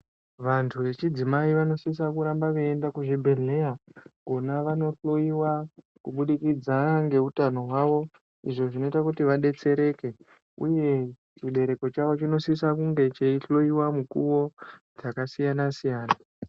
Vantu vechidzimai vanosisa kuramba veienda kuchibhedhleya kona vanohloyiwa kubudikidza ngeutano hwavo izvo zvinoita kuti vadetsereke uye chibereko chavo chinosise kunge cheihloyiwa mukuwo dzakasiyana siyana.